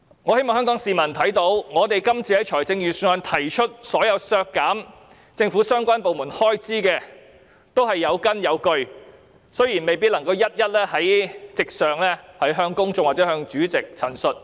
我希望香港市民看到，我們就預算案提出的所有削減政府相關部門開支的修正案都是有根有據，但未必能夠在席上向公眾或主席一一陳述。